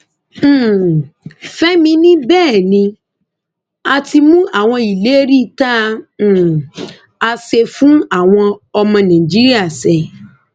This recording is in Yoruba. um fẹmi ní bẹẹ ni a ti mú àwọn ìlérí tá um a ṣe fáwọn ọmọ nàìjíríà ṣẹ